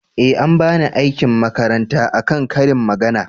eh an bani aikin makaranta a kan ƙarin magana